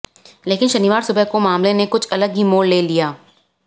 लेकिन शनिवार सुबह को मामले ने कुछ अलग ही मोड़ ले लिया